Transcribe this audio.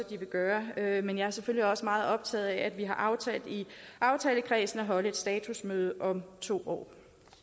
de vil gøre gøre men jeg er selvfølgelig også meget optaget af at vi har aftalt i aftalekredsen at holde et statusmøde om to